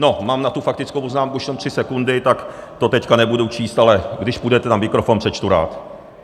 No, mám na tu faktickou poznámku už jenom tři sekundy, tak to teď nebudu číst, ale když půjdete na mikrofon, přečtu rád.